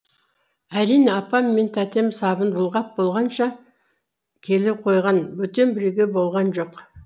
әрине апам мен тәтем сабын бұлғап болғанша келе қойған бөтен біреу болған жоқ